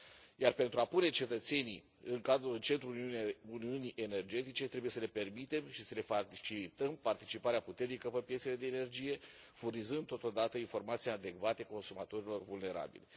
Iar pentru a pune cetățenii în centrul uniunii energetice, trebuie să le permitem și să le facilităm participarea puternică pe piețele de energie, furnizând totodată informații adecvate consumatorilor vulnerabili.